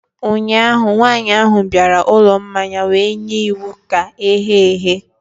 ụnyahụ, nwanyị ahụ bịara ụlọ mmanya wee nye iwu ka eghe eghe